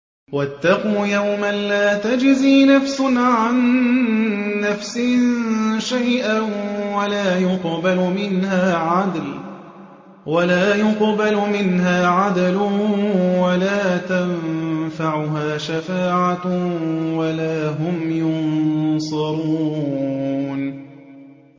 وَاتَّقُوا يَوْمًا لَّا تَجْزِي نَفْسٌ عَن نَّفْسٍ شَيْئًا وَلَا يُقْبَلُ مِنْهَا عَدْلٌ وَلَا تَنفَعُهَا شَفَاعَةٌ وَلَا هُمْ يُنصَرُونَ